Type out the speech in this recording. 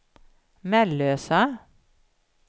Mellösa